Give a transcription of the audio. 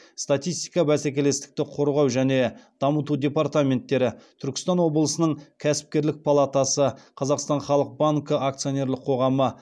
статистика бәсекелестікті қорғау және дамыту департаменттері түркістан облысының кәсіпкерлік палатасы қазақстан халық банкі акционерлік қоғамы